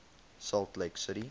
salt lake city